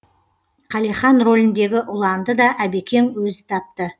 қалихан роліндегі ұланды да әбекең өзі тапты